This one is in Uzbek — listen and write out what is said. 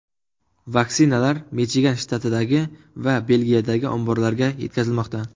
Vaksinalar Michigan shtatidagi va Belgiyadagi omborlarga yetkazilmoqda.